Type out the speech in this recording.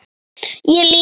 Ég líka.